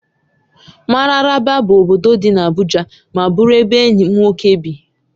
Mararaba bụ obodo dị n'Abuja ma bụrụ ebe enyi m nwoke bi